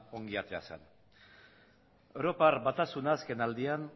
ondo atera zen europar batasuna azken aldian